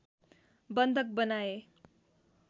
बन्धक बनाए